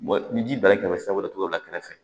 Bon ni ji bali kɛmɛ kɛmɛ sira wɛrɛ tigɛ o la kɛrɛfɛ